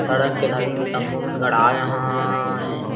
सड़क के धारी में तंबू मन गड़ाये अहायें।